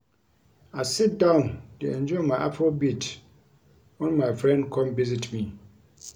I sit down dey enjoy my Afrobeat wen my friend come visit me